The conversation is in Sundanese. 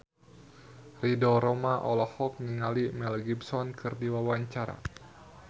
Ridho Roma olohok ningali Mel Gibson keur diwawancara